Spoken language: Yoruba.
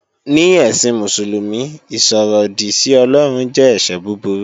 Ní ẹ̀sìn Mùsùlùmí, ìsọ̀ròdì sí Ọlọ́run jẹ́ ẹ̀ṣẹ̀ búburú